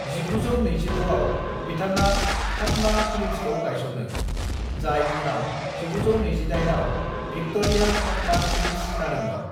"1926 आव, बिथाङा फातमा फिल्म्सखौ गायसनो, जाय उनाव 1928 आव भिक्ट'रिया-फातमा फिल्म्स जादोंमोन।"